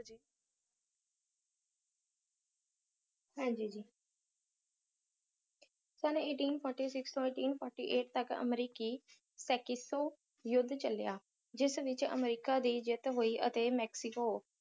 ਹਾਂਜੀ ਜੀ ਸਨ eighteen forty six ਤੋਂ eighteen forty eight ਤਕ ਅਮਰੀਕੀ ਸੇਕੀਤੋ ਯੁੱਧ ਚੱਲਿਆ ਜਿਸ ਵਿੱਚ ਅਮਰੀਕਾ ਦੀ ਜਿੱਤ ਹੋਈ ਅਤੇ ਮੈਕਸੀਕੋ